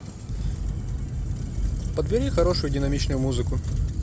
подбери хорошую динамичную музыку